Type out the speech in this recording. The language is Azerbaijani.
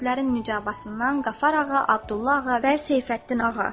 Kürdlərin Mücabasından Qafar ağa, Abdullah ağa və Seyfəddin ağa.